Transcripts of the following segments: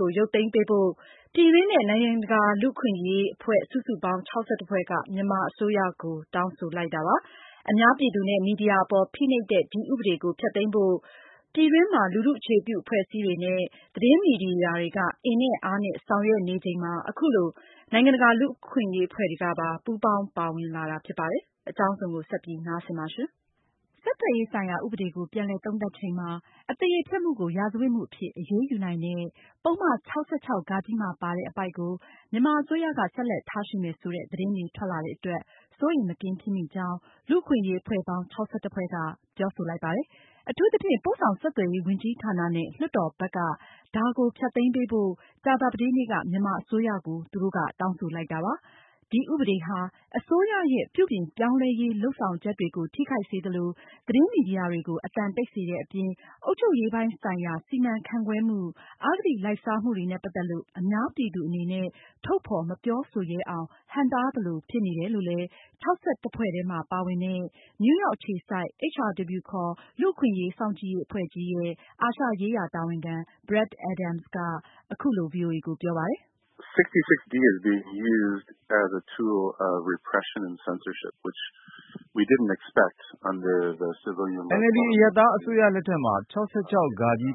ကို ရုပ်သိမ်းပေးဖို့ ပြည်တွင်းနဲ့ နိုင်ငံတကာလူ့အခွင့်အရေးအဖွဲ့ စုစုပေါင်း ဖွဲ့က မြန်မာအစိုးရကို တောင်းဆိုလိုက်ပါတယ်။ အများပြည်သူနဲ့ မီဒီယာ အပေါ် ဖိနှိပ်တဲ့ ဒီဥပဒေကို ဖျက်သိမ်းဖို့ ပြည်တွင်းမှာ လူထုအခြေပြုအဖွဲ့အစည်းတွေနဲ့ သတင်းမီဒီယာတွေက အင်နဲ့အားနဲ့ ဆောင်ရွက်နေချိန် အခုလို နိုင်ငံတကာလူ့အခွင့်အရေး အဖွဲ့တွေကပါ ပူးပေါင်းပါဝင်လာတာ ဖြစ်ပါတယ်။ မအင်ကြင်းနိုင်က ဆက်ပြီးတင်ပြမှာပါ။ ဆက်သွယ်ရေးဆိုင်ရာ ဥပဒေကို ပြန်လည်သုံးသပ်ချိန်မှာ အသရေဖျက်မှုကို ရာဇဝတ်မှုအဖြစ် အရေးယူနိုင်တဲ့ ပုဒ်မ ၆၆ မှာပါတဲ့ အပိုဒ်ကို မြန်မာအစိုးရက ဆက်လက်ထားရှိမယ်ဆိုတဲ့ သတင်းတွေထွက်လာတဲ့အတွက် စိုးရိမ်မကင်းဖြစ်မိကြောင်း လူ့အခွင့်အရေးအဖွဲ့ပေါင်း ဖွဲ့က ပြောဆိုလိုက်ပါတယ်။ အထူးသဖြင့် ပို့ဆောင်ဆက်သွယ်ရေးဝန်ကြီးဌာနနဲ့ လွှတ်တော် ဘက်က ဒါကိုဖျက်သိမ်းပေးဖို့ ကြာသာပတေးနေ့က မြန်မာအစိုးရကို သူတို့က တောင်းဆိုလိုက်တာပါ။ ဒီဥပဒေဟာ အစိုးရရဲ့ ပြုပြင်ပြောင်းလဲရေးလုပ်ဆောင်ချက်တွေကို ထိခိုက်စေသလို၊ သတင်းမီဒီယာတွေကို အသံတိတ်စေတဲ့အပြင် အုပ်ချုပ်ရေးပိုင်ဆိုင်ရာ စီမံခန့်ခွဲမှု၊ အဂတိလိုက်စားမှုတွေနဲ့ ပတ်သက်လို့ အများပြည်သူအနေနဲ့ ထုတ်ဖေါ်မပြောဆိုရဲအောင် ဟန့်တားသလိုဖြစ်နေတယ်လို့လည်း ဖွဲ့ထဲမှာ ပါဝင်တဲ့ နယူးရောက်အခြေစိုက် HRW ခေါ် လူ့အခွင့်အရေး စောင့်ကြည့်ရေးအဖွဲ့ကြီးရဲ့ အာရှရေးရာတာဝန်ခံ Brad Adams က အခုလို ဗွီအိုအေကို ပြောပါတယ်။ “NLD အရပ်သား အစိုးရလက်ထက်မှာ ၆၆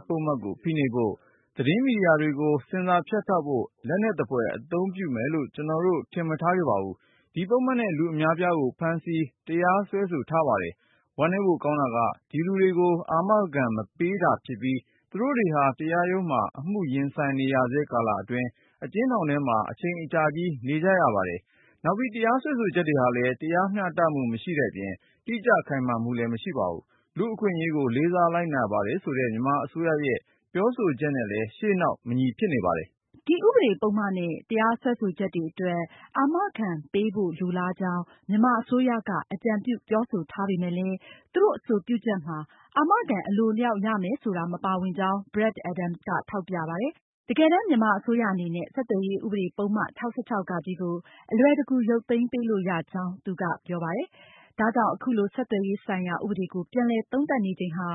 ပုဒ်မကို ဖိနှိပ်ဖို့၊ သတင်းမီဒီယာတွေကို ဆင်ဆာဖြတ်တောက်ဖို့ လက်နက်သဖွယ် အသုံးပြုမယ်လို့ ကျနော်တို့ ထင်မထားခဲ့ ပါဘူး။ ဒီပုဒ်မနဲ့ လူအများအပြားကို ဖမ်းဆီး၊ တရားစွဲဆိုထားပါတယ်။ ဝမ်းနည်းဖို့ကောင်းတာက ဒီလူတွေကို အာမခံ မပေးတာဖြစ်ပြီး သူတို့တွေဟာ တရားရုံးမှာ အမှုရင်ဆိုင်နေဆဲကာလအတွင်း အကျဉ်းထောင်ထဲမှာ အချိန်အကြာကြီး နေကြရပါတယ်။ နောက်ပြီး တရားစွဲဆိုချက်တွေဟာလည်း တရားမျှတမှုမရှိတဲ့အပြင် တိကျခိုင်မာမှုလည်း မရှိပါဘူး။ လူ့အခွင့်အရေးကို လေးစားလိုက်နာပါတယ်ဆိုတဲ့ မြန်မာအစိုးရရဲ့ ပြောဆိုချက်နဲ့လည်း ရှေ့နောက် မညီဖြစ်နေပါတယ်။” ဒီဥပဒပုဒ်မနဲ့ တရားစွဲဆိုချက်တွေအတွက် အာမခံပေးဖို့ လိုလားကြောင်း မြန်မာအစိုးရက အကြံပြု ပြောဆိုထားပေမဲ့လည်း သူတို့အဆိုပြုချက်မှာ အာမခံ အလိုအလေ ျှာက် ရမယ်ဆိုတာ မပါဝင်ကြောင်း Brad Adams ထောက်ပြသွားပါတယ်။ တကယ်တမ်း မြန်မာအစိုးရအနေနဲ့ ဆက်သွယ်ရေး ဥပဒေပုဒ်မ ၆၆ ကို အလွယ်တကူ ရုပ်သိမ်းပေးလို့ ရကြောင်း သူကပြောသွားပါတယ်။ ဒါကြောင့်အခုလို ဆက်သွယ်ရေးဆိုင်ရာ ဥပဒေကို ပြန်လည်သုံးသပ်နေချိန်ဟာ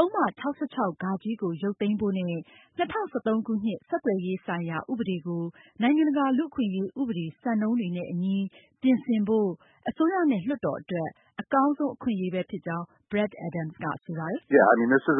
ပုဒ်မ ၆၆ ကို ရုပ်သိမ်းဖို့နဲ့ ၂၀၁၃ ခုနှစ် ဆက်သွယ်ရေးဆိုင်ရာ ဥပဒေကို နိုင်ငံတကာ လူ့အခွင့်ရေး ဥပဒေ၊ စံနှုန်းတွေနဲ့အညီ ပြင်ဆင်ဖို့ အစိုးရနဲ့ လွှတ်တော်အတွက် အကောင်းဆုံး အခွင့်အရေးပဲဖြစ်ကြောင်း Brad Adams ကဆိုပါတယ်။ “ဘာကြောင့်လဲဆို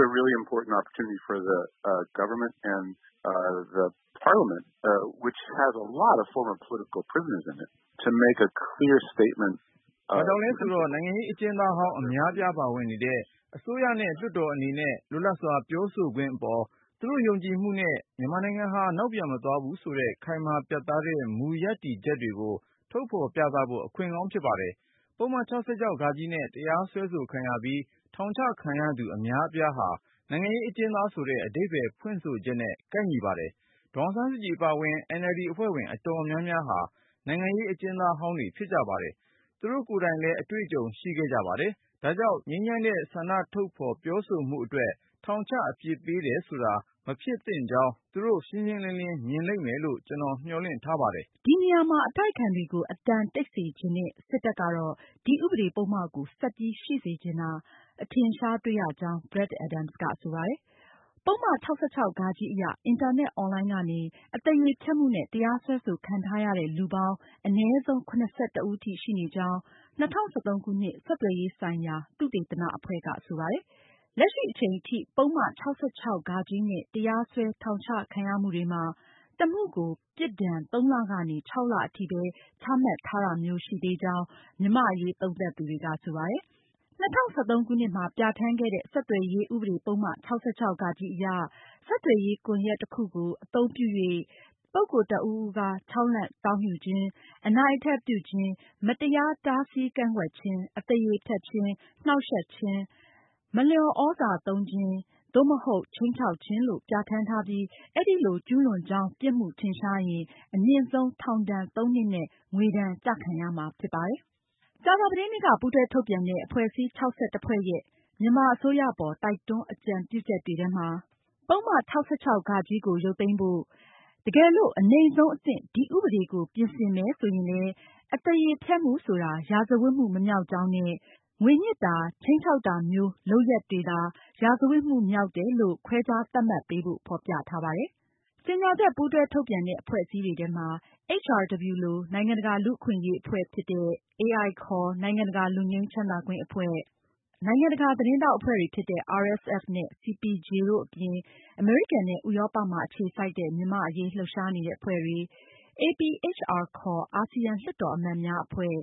တော့ နိုင်ငံရေးအကျဉ်းသားဟောင်း အများအပြားပါဝင်နေတဲ့ အစိုးရနဲ့ လွှတ်တော်အနေနဲ့ လွတ်လပ်စွာပြောဆိုခွင့်အပေါ် သူတို့ ယုံကြည်မှုနဲ့ မြန်မာနိုင်ငံဟာ နောက်ပြန်မသွားဘူးဆိုတဲ့ ခိုင်မာပြတ်သားတဲ့ မူရပ်တည်ချက်ကို ထုတ်ဖေါ်ပြသဖို့ အခွင့်ကောင်းဖြစ်ပါတယ်။ ပုဒ်မ ၆၆ နဲ့ တရားစွဲခံရပြီး ထောင်ချခံရသူ အများအပြားဟာ နိုင်ငံရေးအကျဉ်းသား ဆိုတဲ့ အဓိပ္ပါယ်ဖွင့်ဆိုချက်နဲ့ ကိုက်ညီပါတယ်။ ဒေါ်အောင်ဆန်းစုကြည် အပါအဝင် NLD အဖွဲ့ဝင် အတော်များများဟာ နိုင်ငံရေး အကျဉ်းသားဟောင်းတွေ ဖြစ်ပါတယ်။ သူတို့ကိုယ်တိုင်လည်း အတွေ့အကြုံ ရှိခဲ့ကြပါတယ်။ ဒါကြောင့် ငြိမ်းချမ်းတဲ့ ဆန္ဒထုတ်ဖေါ် ပြောဆိုမှုတွေအတွက် ထောင်ချ အပြစ်ပေးတယ်ဆိုတာ မဖြစ်သင့်ကြောင်း သူတို့ ရှင်းရှင်းလင်းလင်း မြင်လိမ့်မယ်လို့ ကျနော်တို့ မျှော်လင့်ထားပါတယ်။” ဒီနေရာမှာ အတိုက်အခံတွေကို အသံတိတ်စေချင်တဲ့ စစ်တပ်ကတော့ ဒီဥပဒေပုဒ်မကို ဆက်ပြီးရှိစေချင်ဆိုတာ အထင်အရှားတွေ့ရကြောင်း Brad Adams ကဆိုပါတယ်။ ပုဒ်မ ၆၆ အရ အင်တာနက်အွန်လိုင်းကနေ အသေရေဖျက်မှုနဲ့ တရားစွဲခံထားရတဲ့ လူပေါင်း အနည်းဆုံး ဦးထိရှိနေကြောင်း ၂၀၁၃ ခုနှစ် ဆက်သွယ်ရေးဆိုင်ရာ သုတေသန အဖွဲ့က ဆိုပါတယ်။ လက်ရှိအချိန်ထိ ပုဒ်မ ၆၆ နဲ့ တရားစွဲ၊ ထောင်ချ ခံရမှုတွေမှာ တစ်မှုကို ပြစ်ဒါဏ် ၃ လကနေ ၆ လ အထိပဲ ချမှတ်ထားတာမျိုး ရှိသေးကြောင်း မြန်မာ့အရေးစောင့်ကြည့်သူတွေက ပြောပါတယ်။ ၂၀၁၃ခုနှစ်မှာ ပြဌာန်းခဲ့တဲ့ ဆက်သွယ်ရေး ဥပဒေ ပုဒ်မ ၆၆ အရ ဆက်သွယ်ရေး ကွန်ယက် တစ်ခုခုကို အသုံးပြု၍ ပုဂ္ဂိုလ် တစ်ဦးဦးအား ခြောက်လှန့်တောင်းယူခြင်း၊ အနိုင်အထက်ပြုခြင်း၊ မတရား တားဆီးကန့်ကွက်ခြင်း၊ အသရေဖျက်ခြင်း၊ နှောင့်ယှက်ခြင်း၊ မလျော်သြဇာ သုံးခြင်း၊ သို့မဟုတ် ခြိမ်းခြောက်ခြင်း- လို့ ပြဌာန်းထားပြီး အဲလို ကျူးလွန်ကြောင်း ပြစ်မှုထင်ရှားရင် အမြင့်ဆုံး ထောင်ဒါဏ် ၃ နှစ်နဲ့ ငွေဒါဏ် ကျခံရမှာဖြစ်ပါတယ်။ ကြာသာပတေးနေ့က ပူးတွဲထုတ်ပြန်တဲ့အဖွဲ့အစည်း ဖွဲ့ရဲ့ မြန်မာအစိုးရအပေါ် တိုက်တွန်း အကြံပြုချက်တွေထဲမှာ ပုဒ်မ ၆၆ ကို ရုပ်သိမ်းဖို့၊ တကယ်လို့ အနိမ့်ဆုံးအဆင့် ဒီဥပဒေကို ပြင်ဆင်မယ်ဆိုရင် အသေရေဖျက်မှုဆိုတာ ရာဇဝတ်မှု မမြောက်ကြောင်း၊ ငွေညှစ်၊ ခြိမ်းခြောက်တာ စတဲ့လုပ်ရပ်မျိုးတွေကိုသာ ရာဇဝတ်မှုမျိုးအဖြစ် ခွဲခြားသတ်မှတ်ပေးဖို့ ဖေါ်ပြထားပါတယ်။ ကြေညာချက် ပူးတွဲထုတ်ပြန်တဲ့ အဖွဲ့အစည်းတွေထဲမှာ HRW လို နိုင်ငံတကာ လူ့အခွင့်အရေးအဖွဲ့တွေဖြစ်တဲ့ AI ခေါ် နိုင်ငံတကာ လွတ်ငြိမ်းချမ်းသာခွင့်အဖွဲ့၊ နိုင်ငံတကာ သတင်းထောက်အဖွဲ့တွေဖြစ်တဲ့ RSF နဲ့ CPJ တို့အပြင် အမေရိကန်နဲ့ ဥရောပမှာ အခြေစိုက်တဲ့ မြန်မာ့အရေး လှုပ်ရှားနေတဲ့အဖွဲ့တွေ၊ APHR ခေါ် အာဆီယံ လွှတ်တော်အမတ်များအဖွဲ့၊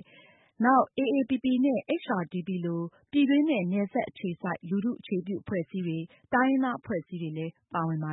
နောက် AAPP နဲ့ HRDP လို ပြည်တွင်းနဲ့ နယ်စပ်အခြေစိုက် လူထုအခြေပြုအဖွဲ့အစည်းတွေ၊ တိုင်းရင်းသားအဖွဲ့အစည်းတွေလည်း ပါဝင်ပါ